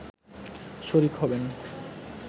শরিক হবেন